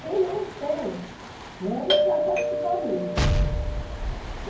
Quem não tem, né, não vai participar mesmo.